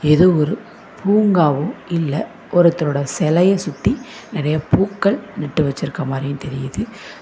இது ஒரு பூங்காவு இல்ல ஒருத்தரோடு செலைய சுத்தி நறையா பூக்கள் நட்டு வச்சுருக்க மாரியு தெரியுது.